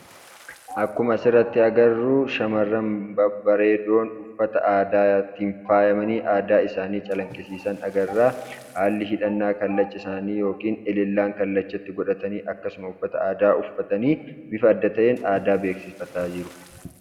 Akkuma asirratti agarru, shamarran babareedoon uffata aadaatiin faayamanii aadaa isaanii calaqisiisaan agarra. Haalli hidhannaa kallacha isaanii yookiin ilillaan kallachatti godhatani akkasuma uffata aadaa uffatani bifa adda ta'een beeksifataa jiru.